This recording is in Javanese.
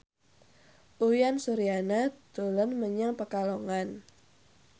Uyan Suryana dolan menyang Pekalongan